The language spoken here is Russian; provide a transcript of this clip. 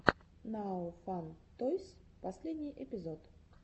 нао фан тойс последний эпизод